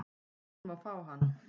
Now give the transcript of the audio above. Hann má fá hann